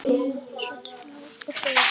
Svo dundu ósköpin yfir.